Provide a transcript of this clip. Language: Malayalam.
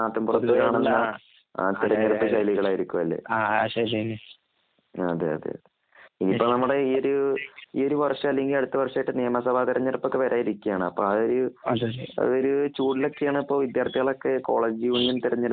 നാട്ടിൻ പുറത്ത് കാണുന്ന തിരഞ്ഞ് എടുപ്പ് ശൈലികൾ ആയിരിക്കും അല്ലേ അതെ അതേ ഇപ്പം നമ്മുടെ ഈ ഒരു ഇ ഒരു വർഷം അല്ലെങ്കിൽ അടുത്ത വർഷമായിട്ട് നിയമ സഭ തിരഞ്ഞെടുപ്പ് ഒക്കെവരാൻ ഇരിക്കുകയാണ് അത്ഒരു ചൂടിൽ ഒക്കെ ആണ് ഇപ്പം വിദ്യാർഥികൾ ഒക്കെ കോളേജ് യൂണിയൻ തിരഞ്ഞ് എടുപ്പ് -